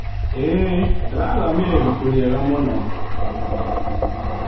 ĩĩ, ndirathomire ibuku rĩega mũno.